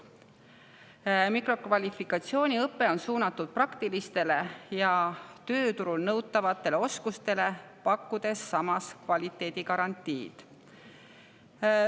Mikrokvalifikatsiooniõpe on suunatud praktilistele ja tööturul nõutavatele oskustele, pakkudes samas kvaliteedi garantiid.